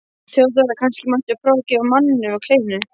THEODÓRA: Kannski mætti prófa að gefa manninum kleinu?